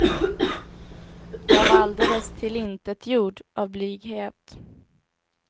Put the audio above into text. Jag var alldeles tillintetgjord av blyghet.